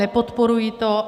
Nepodporuji to.